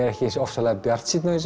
ekki eins ofsalega bjartsýnn